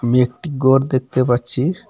আমি একটি গর দেখতে পাচ্ছি।